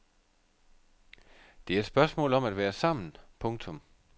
Det er et spørgsmål om at være sammen. punktum